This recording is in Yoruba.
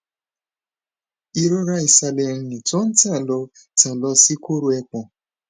irora isale eyin to n tan lo tan lo si koro epon